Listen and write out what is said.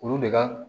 Olu de ka